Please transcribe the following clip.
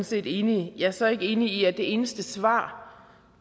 set enige jeg er så ikke enig i at det eneste svar